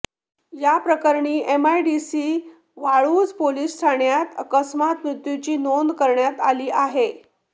या प्रकरणी MIDC Waluj police ठाण्यात अकस्मात मृत्युची नोंद करण्यात आली आहे